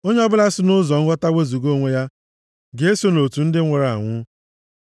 Onye ọbụla si nʼụzọ nghọta wezuga onwe ya ga-eso nʼotu ndị nwụrụ anwụ.